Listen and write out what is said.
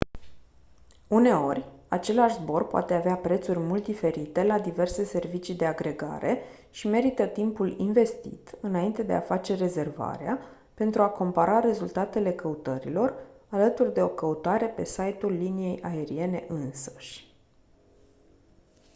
uneori același zbor poate avea prețuri mult diferite la diverse servicii de agregare și merită timpul investit înainte de a face rezervarea pentru a compara rezultatele căutărilor alături de o căutare pe site-ul liniei aeriene însăși